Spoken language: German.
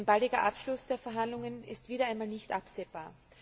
Ein baldiger Abschluss der Verhandlungen ist wieder einmal nicht absehbar.